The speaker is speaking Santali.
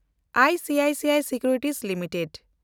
I C I C I securities limited